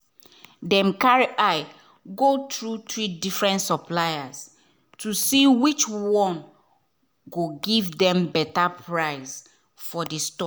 dem carry eye go through three different suppliers to see which one go give dem better price for the stock.